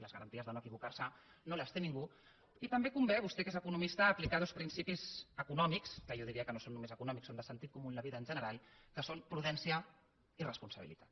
les garanties de no equivocar se no les té ningú i també convé vostè que és economista aplicar dos principis econòmics que jo diria que no són només econòmics són de sentit comú en la vida en general que són prudència i responsabilitat